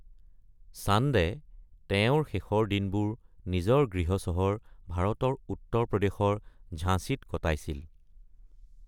চান্দে তেওঁৰ শেষ দিনবোৰ নিজৰ গৃহ চহৰ ভাৰতৰ উত্তৰ প্ৰদেশৰ ঝাঁছিত কটাইছিল।